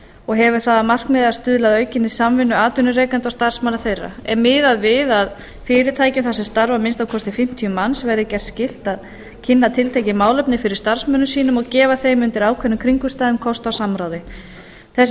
og hefur það að markmiði að stuðla að aukinni samvinnu atvinnurekenda og starfsmanna þeirra er miðað við að fyrirtækjum þar sem starfa að minnsta kosti fimmtíu manns verði gert skylt að kynna tiltekin málefni fyrir starfsmönnum sínum og gefa þeim undir ákveðnum kringumstæðum kost á samráði þessi